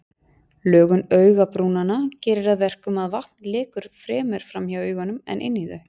Lögun augabrúnanna gerir að verkum að vatn lekur fremur framhjá augunum en inn í þau.